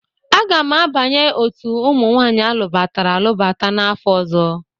Aga m abanye otu ụmụ nwaanyị alụbatara alụbata n'afọ ọzọ.